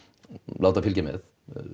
láta fylgja með